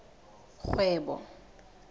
kgwebo